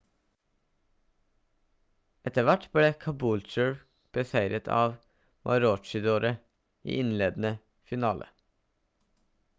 etter hvert ble caboolture beseiret av maroochydore i innledende finale